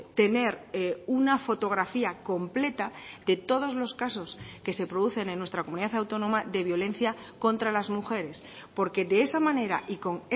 tener una fotografía completa de todos los casos que se producen en nuestra comunidad autónoma de violencia contra las mujeres porque de esa manera y con